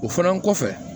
O fana kɔfɛ